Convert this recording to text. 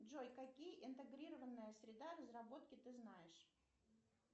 джой какие интегрированные среда разработки ты знаешь